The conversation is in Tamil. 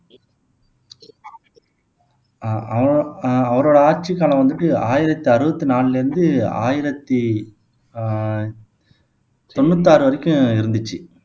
ஆஹ் அவரோ ஆஹ் அவரோட ஆட்சிக்காலம் வந்துட்டு ஆயிரத்து அறுபத்து நாலுலருந்து ஆயிரத்தி ஆஹ் தொண்ணூத்தாறு வரைக்கும் இருந்துச்சு